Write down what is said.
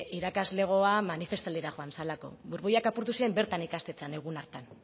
irakaslegoa manifestaldia joan zelako burbuilak apurtu ziren bertan ikastetxean egun hartan